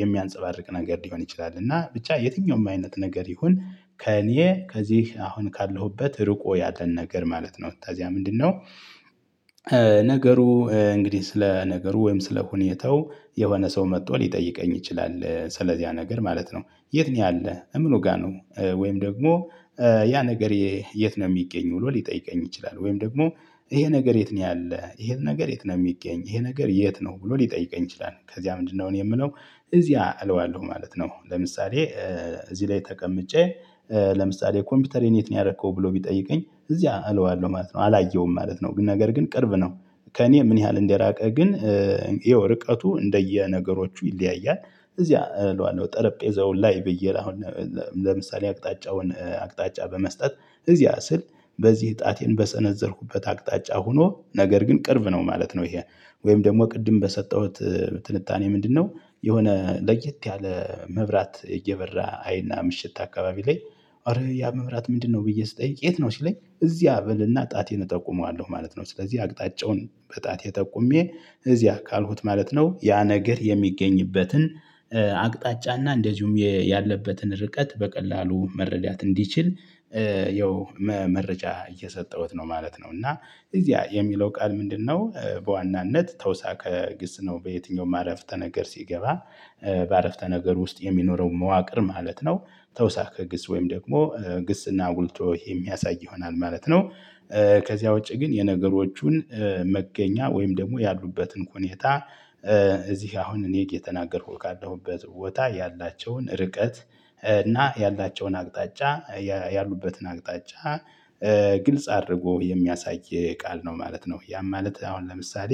የሚያንፀባርቅ ነገር ሊሆን ይችላል እና ብቻ የትኛውም አይነት ነገር ይሁን ከእኔ ከዚህ አሁን ካለሁበት ርቆ ያለን ነገር ማለት ነው። ተዚያ ምንድነው? ነገሩ እንግዲህ ስለ ነገሩ ወይም ስለ ሁኔታው የሆነ ሰው መጥቶ ሊጠይቀኝ ይችላል ስለዚህ ያ ነገር ማለት ነው። የት ነው ያለህ ምኑ ጋር ነው? ወይም ደግሞ ያ ነገር የት ነው የሚገኝ ብሎ ሊጠይቀኝ ይችላል። ወይም ደግሞ ይሄ ነገር የት ነው ያለ ይሄ ነገር የት ነው የሚገኝ ይሄ ነገር የት ነው ብሎ ሊጠይቀኝ ይችላል። ከዚያ ምንድነው እኔ የምለው እዚያ አለው አለው ማለት ነው። ለምሳሌ እዚህ ላይ ተቀምጬ ለምሳሌ ኮምፒውተሬን የት ነው ያረከው ብሎ ቢጠይቀኝ እዚያ አለዋለሁ ማለት ነው። አላየውም ማለት ነው። ግን ነገር ግን ቅርብ ነው። ከእኔ ምን ያህል እንደራቀ ግን ይኸው ርቀቱ እንደየነገሮቹ ይለያያል። እዚያ እለዋለሁ ጠረጴዛው ላይ ብዬ አሁን ለምሳሌ አቅጣጫውን አቅጣጫ በመስጠት እዚያ ስል በዚህ ጣቴን በሰነዘርኩበት አቅጣጫ ሆኖ ነገር ግን ቅርብ ነው ማለት ነው። ይሄ ወይም ደግሞ ቅድም በሰጠሁት ትንታኔ ምንድነው? የሆነ ለየት ያለ መብራት እየበራ አይና ምሽት አካባቢ ላይ ኧረ ያ መብራት ምንድነው ብዬ ስጠይቅ የት ነው ሲለኝ እዚያ በልና ጣቴን እጠቁመዋለሁ ማለት ነው። ስለዚህ አቅጣጫውን በጣቴ ጠቁሜ እዚያ ካልኩት ማለት ነው ያ ነገር የሚገኝበትን አቅጣጫና እንደዚሁም ያለበትን ርቀት በቀላሉ መረዳት እንዲችል ያው መመረጃ እየሰጠሁት ነው ማለት ነው። እና እዚያ የሚለው ቃል ምንድነው በዋናነት ተውሳከ ግስ ነው። በየትኛውም አረፍተ ነገር ሲገባ በአረፍተ ነገር ውስጥ የሚኖረው መዋቅር ማለት ነው። ተውሳክህ ግስ ወይም ደግሞ ግስና አጉልቶ የሚያሳይ ይሆናል ማለት ነው። ከዚያ ውጪ ግን የነገሮቹን መገኛ ወይም ደግሞ ያሉበትን ሆኔታ እዚህ አሁን እኔ የተናገርኩት ካለሁበት ቦታ ያላቸውን ርቀት እና ያላቸውን አቅጣጫ ያሉበትን አቅጣጫ ግልጽ አድርጎ የሚያሳይ ቃል ነው ማለት ነው። ያም ማለት አሁን ለምሳሌ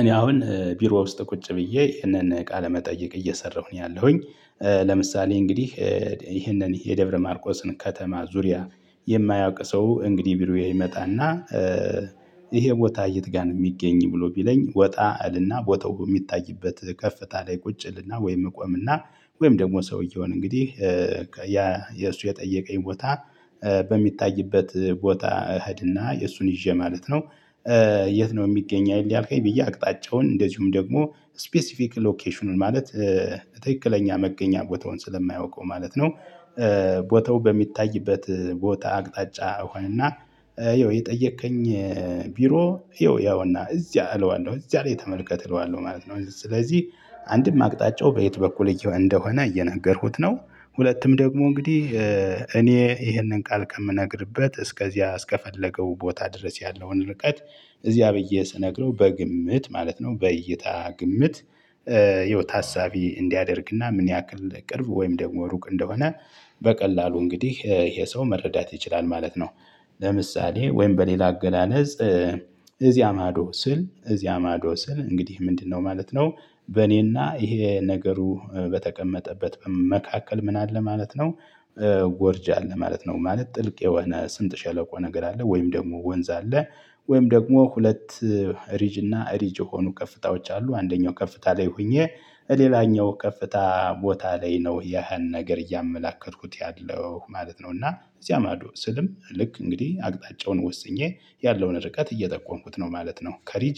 እኔ አሁን ቢሮ ውስጥ ቁጭ ብዬ ይሄንን ቃለ መጠየቅ እየሰራሁ ነው ያለሁኝ። ለምሳሌ እንግዲህ ይህንን የደብረ ማርቆስን ከተማ ዙሪያ የማያውቅ ሰው እንግዲህ ቢሮዬ ይመጣና ይሄ ቦታ የት ጋር ነው የሚገኝ? ብሎ ቢለኝ ወጣ እልና ቦታው በሚታይበት ከፍታ ላይ ቁጭ እልና ወይም እቆምና ወይም ደግሞ ሰውየውን እንግዲህ ያ የሱ የጠየቀኝ ቦታ በሚታይበት ቦታ እህድና የእሱን ይዤ ማለት ነው። የት ነው የሚገኘኝ ያልከኝ ብዬ አቅጣጫውን እንደዚሁም ደግሞ ስፔሲፊክ ሎኬሽኑን ማለት ትክክለኛ መገኛ ቦታውን ስለማያውቀው ማለት ነው። ቦታው በሚታይበት ቦታ አቅጣጫ ሆነና ይኸው የጠየከኝ ቢሮ ይኸው ያውና እዚያ አለው እዚያ ላይ ተመልከትለዋለሁ ማለት ነው። ስለዚህ አንድም አቅጣጫው በየት በኩል እንደሆነ እየነገርኩት ነው። ሁለቱም ደግሞ እንግዲህ እኔ ይህንን ቃል ከምነግርበት እስከዚያ እስከፈለገው ቦታ ድረስ ያለውን ርቀት እዚያ ብዬ ስነግረው በግምት ማለት ነው በእይታ ግምት። ህይወት ሀሳቢ እንዲያደርግና ምን ያክል ቅርብ ወይም ደግሞ ሩቅ እንደሆነ በቀላሉ እንግዲህ ይሄ ሰው መረዳት ይችላል ማለት ነው። ለምሳሌ ወይም በሌላ አገላለጽ እዚያ ማዶ ስል እዚያ ማዶ ስል እንግዲህ ምንድነው ማለት ነው? በእኔና ይሄ ነገሩ በተቀመጠበት መካከል ምን አለ ማለት ነው። ጎርጅ አለ ማለት ነው ማለት ጥልቅ የሆነ ስንጥ ሸለቆ ነገር አለ ወይም ደግሞ ወንዝ አለ። ወይም ደግሞ ሁለት ሪጅ እና ሪጅ የሆኑ ከፍታዎች አሉ አንደኛው ከፍታ ላይ ሆኜ ሌላኛው ከፍታ ቦታ ላይ ነው ያህን ነገር እያመላከትኩት ያለው ማለት ነው። እና እዚያ ማዶ ስልም ልክ እንግዲህ አቅጣጫውን ወስኜ ያለውን ርቀት እየጠቆምኩት ነው ማለት ነው። ከሪጅ